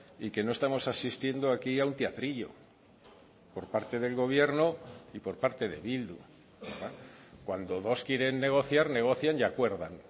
y que no estamos asistiendo aquí a un teatrillo por parte del gobierno y por parte de bildu cuando dos quieren negociar negocian y acuerdan